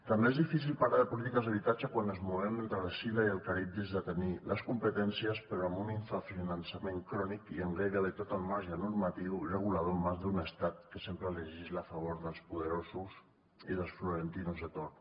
també és difícil parlar de polítiques d’habitatge quan ens movem entre l’escil·la i el caribdis de tenir les competències però amb un infrafinançament crònic i amb gairebé tot el marge normatiu regulador en mans d’un estat que sempre legisla a favor dels poderosos i dels florentinos de torn